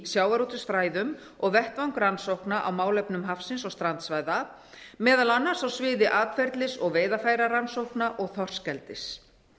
sjávarútvegsfræðum og vettvang rannsókna á málefnum hafsins og strandsvæða meðal annars á sviði atferlis og veiðarfærarannsókna og þorskeldis